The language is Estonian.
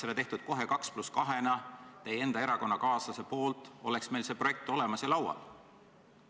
Oleks tehtud kohe 2 + 2 – teie enda erakonnakaaslane võinuks seda teha –, oleks meil see projekt olemas ja laual.